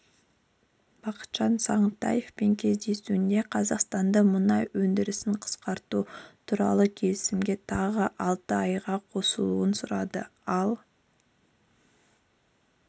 бақытжан сағынтаевпен кездесуінде қазақстанды мұнай өндірісін қысқарту туралы келісімге тағы алты айға қосылуын сұрады ал